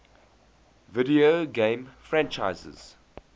video game franchises